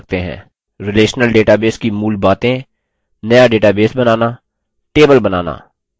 relational database की मूल बातें नया database बनाना table बनाना